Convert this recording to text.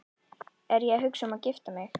Er ég að hugsa um að gifta mig?